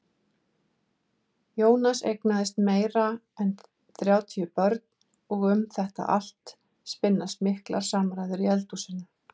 Jónas eignaðist meira en þrjátíu börn og um þetta allt spinnast miklar samræður í eldhúsinu.